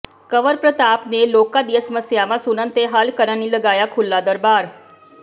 ਕੰਵਰਪ੍ਰਤਾਪ ਨੇ ਲੋਕਾਂ ਦੀਆਂ ਸਮੱਸਿਆਵਾਂ ਸੁਣਨ ਤੇ ਹੱਲ ਕਰਨ ਲਈ ਲਗਾਇਆ ਖੁੱਲ੍ਹਾ ਦਰਬਾਰ